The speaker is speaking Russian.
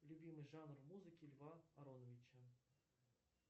любимый жанр музыки льва ароновича